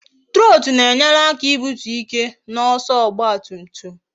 Trotu na-enyere aka ibutu ike na ọsọ ọgba tum tum